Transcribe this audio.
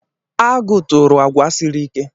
Agụ turu àgwà siri ike.